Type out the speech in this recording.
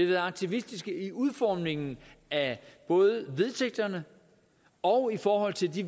været aktivistiske i udformningen af både vedtægterne og i forhold til de